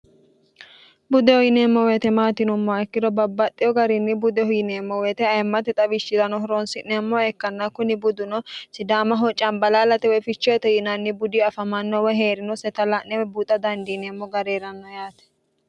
buddehu yineemmo woyite maati yinummoha ikkiro babbaxxiho garinni budehu yineemmo woyite ayemmate xawishshirano horonsi'neemmoha ikkanna kuni buduno sidaamaho cambalaalate woy fichoyete yinanni budi afamannowa hee'rinoseta la'ne woy buuxa dandiineemmo gari heranno yaate